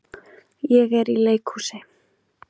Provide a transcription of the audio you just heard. Ég er í leikhúsi.